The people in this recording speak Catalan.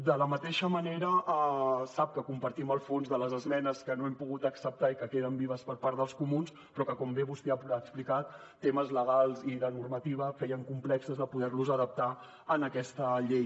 de la mateixa manera sap que compartim el fons de les esmenes que no hem pogut acceptar i que queden vives per part dels comuns però que com bé vostè ha explicat temes legals i de normativa feien complex de poder les adaptar a aquesta llei